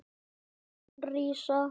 Hár þín rísa.